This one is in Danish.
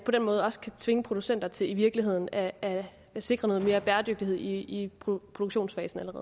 på den måde også kan tvinge producenter til i virkeligheden at at sikre noget mere bæredygtighed allerede i produktionsfasen